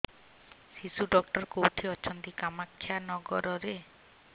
ଶିଶୁ ଡକ୍ଟର କୋଉଠି ଅଛନ୍ତି କାମାକ୍ଷାନଗରରେ